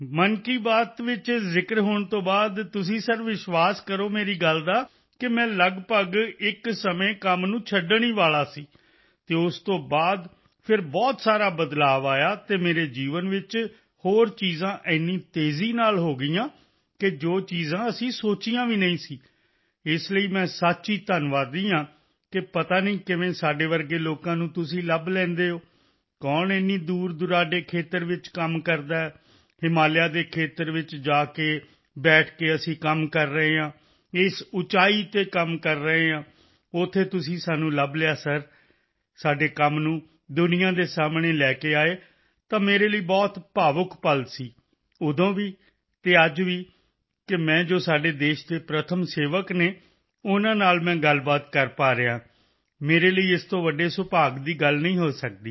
ਮਨ ਕੀ ਬਾਤ ਵਿੱਚ ਜ਼ਿਕਰ ਹੋਣ ਤੋਂ ਬਾਅਦ ਤੁਸੀਂ ਸਰ ਵਿਸ਼ਵਾਸ ਬੀਲੀਵ ਕਰੋ ਮੇਰੀ ਗੱਲ ਦਾ ਕਿ ਮੈਂ ਲੱਗਭਗ ਇਕ ਸਮੇਂ ਕੰਮ ਨੂੰ ਛੱਡਣ ਅਲਮੋਸਟ ਗਿਵਅਪ ਹੀ ਵਾਲਾ ਸੀ ਅਤੇ ਉਸ ਤੋਂ ਬਾਅਦ ਫਿਰ ਬਹੁਤ ਸਾਰਾ ਬਦਲਾਅ ਆਇਆ ਅਤੇ ਮੇਰੇ ਜੀਵਨ ਵਿੱਚ ਹੋਰ ਚੀਜ਼ਾਂ ਇੰਨੀ ਤੇਜ਼ੀ ਸਪੀਡਅਪ ਨਾਲ ਹੋ ਗਈਆਂ ਕਿ ਜੋ ਚੀਜ਼ਾਂ ਅਸੀਂ ਸੋਚੀਆਂ ਵੀ ਨਹੀਂ ਸੀ ਇਸ ਲਈ ਮੈਂ ਸੱਚ ਹੀ ਧੰਨਵਾਦੀ ਹਾਂ ਸੋ ਆਈm ਰੀਅਲੀ ਥੈਂਕਫੁੱਲ ਕਿ ਪਤਾ ਨਹੀਂ ਕਿਵੇਂ ਸਾਡੇ ਵਰਗੇ ਲੋਕਾਂ ਨੂੰ ਤੁਸੀਂ ਲੱਭ ਲੈਂਦੇ ਹੋ ਕੌਣ ਇੰਨੀ ਦੂਰਦੁਰਾਡੇ ਖੇਤਰ ਵਿੱਚ ਕੰਮ ਕਰਦਾ ਹੈ ਹਿਮਾਲਿਆ ਦੇ ਖੇਤਰ ਵਿੱਚ ਜਾ ਕੇ ਬੈਠ ਕੇ ਅਸੀਂ ਕੰਮ ਕਰ ਰਹੇ ਹਾਂ ਇਸ ਉਚਾਈ ਐਲਟੀਟਿਊਡ ਤੇ ਕੰਮ ਕਰ ਰਹੇ ਹਾਂ ਉੱਥੇ ਤੁਸੀਂ ਸਾਨੂੰ ਲੱਭ ਲਿਆ ਸਰ ਸਾਡੇ ਕੰਮ ਨੂੰ ਦੁਨੀਆ ਦੇ ਸਾਹਮਣੇ ਲੈ ਕੇ ਆਏ ਤਾਂ ਮੇਰੇ ਲਈ ਬਹੁਤ ਭਾਵੁਕ ਪਲ ਇਮੋਸ਼ਨਲ ਮੋਮੈਂਟ ਸੀ ਉਦੋਂ ਵੀ ਅਤੇ ਅੱਜ ਵੀ ਕਿ ਮੈਂ ਜੋ ਸਾਡੇ ਦੇਸ਼ ਦੇ ਪ੍ਰਥਮ ਸੇਵਕ ਹਨ ਉਨ੍ਹਾਂ ਨਾਲ ਮੈਂ ਗੱਲਬਾਤ ਕਰ ਪਾ ਰਿਹਾ ਹਾਂ ਮੇਰੇ ਲਈ ਇਸ ਤੋਂ ਵੱਡੇ ਸੁਭਾਗ ਦੀ ਗੱਲ ਨਹੀਂ ਹੋ ਸਕਦੀ